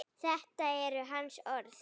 Þetta eru hans orð.